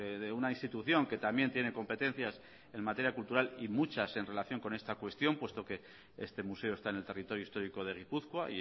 de una institución que también tiene competencias en materia cultural y muchas en relación con esta cuestión puesto que este museo está en el territorio histórico de gipuzkoa